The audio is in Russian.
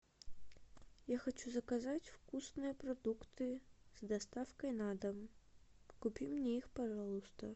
я хочу заказать вкусные продукты с доставкой на дом купи мне их пожалуйста